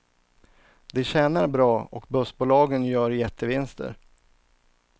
De tjänar bra och bussbolagen gör jättevinster.